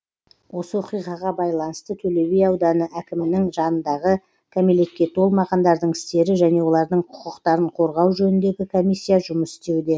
осы оқиғаға байланысты төлеби ауданы әкімінің жанындағы кәмелетке толмағандардың істері және олардың құқықтарын қорғау жөніндегі комиссия жұмыс істеуде